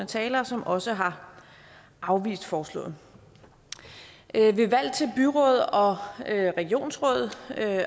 talere som også har afvist forslaget ved valg til byråd og regionsråd